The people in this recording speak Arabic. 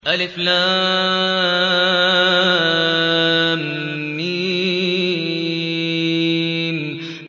الم